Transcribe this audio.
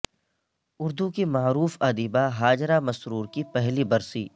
اردو کی معروف ادیبہ ہاجرہ مسرور کی پہلی برسی